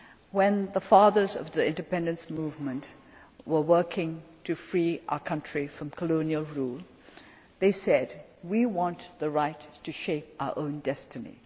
destiny. When the fathers of the independence movement were working to free our country from colonial rule, they said We want the right to shape our own destiny'.